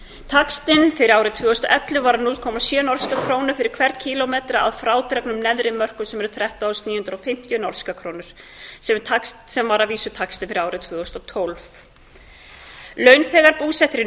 taxtinn fyrir árið tvö þúsund og ellefu var núll komma sjö norskar krónur fyrir hvern kílómetra að frádregnum neðri mörkum sem eru þrettán þúsund níu hundruð og fimmtíu norskar krónur sem var að vísu taxti fyrir árið tvö þúsund og tólf launþegar búsettir í